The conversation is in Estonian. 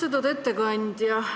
Austatud ettekandja!